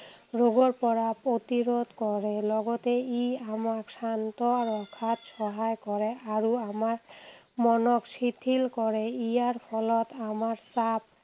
ৰোগৰ পৰা প্ৰতিৰোধ কৰে লগতে ই আমাক শান্ত ৰখাত সহায় কৰে। আৰু আমাৰ মনক শিথিল কৰে, ইয়াৰ ফলত আমাৰ চাপ